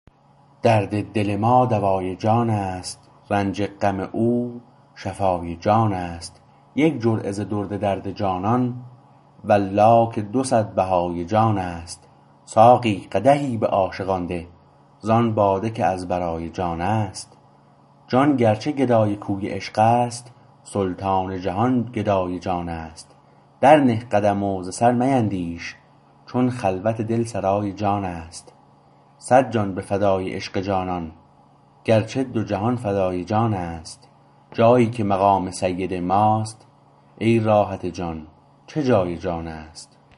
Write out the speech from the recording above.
درد دل ما دوای جان است رنج غم او شفای جان است یک جرعه ز درد درد جانان والله که دوصد بهای جان است ساقی قدحی به عاشقان ده ز آن باده که از برای جان است جان گرچه گدای کوی عشقست سلطان جهان گدای جان است در نه قدم و ز سر میندیش چون خلوت دل سرای جان است صد جان به فدای عشق جانان گرچه دو جهان فدای جان است جایی که مقام سید ماست ای راحت جان چه جای جانست